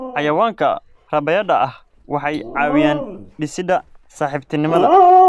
Xayawaanka rabaayada ah waxay caawiyaan dhisidda saaxiibtinimada.